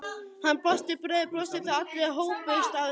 Hann brosti breiðu brosi þegar allir hópuðust að honum.